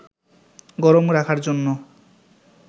গরম রাখার জন্য